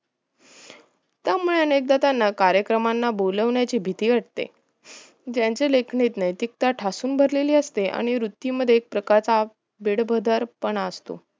त्यामुळे अनेकदा त्यांना कार्यक्रमाला बोलवण्याची भीती वाटते त्याचे लेखन नैतीकता ठासून भरलेली असते आणि वृत्ती मध्ये एक प्रकारचा वेडबदर पणा असतो